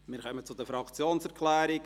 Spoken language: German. Wir kommen zu den Fraktionserklärungen.